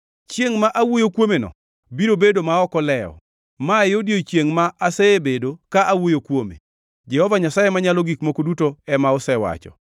Chiengʼ ma awuoyo kuomeno biro bedo ma ok olewo. Mae odiechiengʼ ma asebedo ka awuoyo kuome. Jehova Nyasaye Manyalo Gik Moko Duto ema osewacho.